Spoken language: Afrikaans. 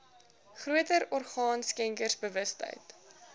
groter orgaan skenkersbewustheid